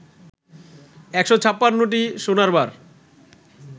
১৫৬টি সোনার বার